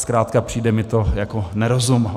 Zkrátka přijde mi to jako nerozum.